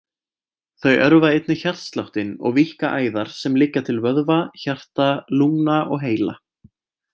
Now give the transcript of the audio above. Þau örva einnig hjartsláttinn og víkka æðar sem liggja til vöðva, hjarta, lungna og heila.